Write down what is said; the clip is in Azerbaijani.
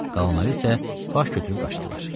Qalanları isə baş götürüb qaçdılar.